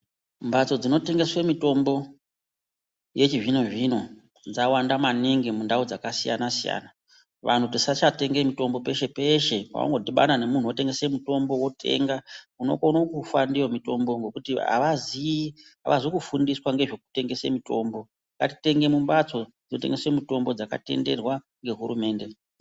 Mbatso dzinotengeswe mitombo yechizvino-zvino, dzawanda maningi mundau dzakasiyana-siyana. Vantu tisachatenga mutombo peshe-peshe, wangodhibana memuntu unotengesa mutombo wotenga, unokona kufa ndiwo mitombo ngekuti avaziyi, avazi kufundiswa ngezvekutengesa mitombo. Ngatitenge mumbatso dzinotengese mitombo, dzakatenderwa ngehurumende.